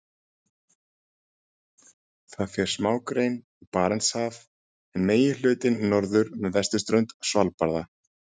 Þar fer smágrein í Barentshaf en meginhlutinn norður með vesturströnd Svalbarða.